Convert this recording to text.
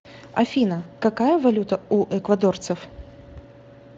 афина какая валюта у эквадорцев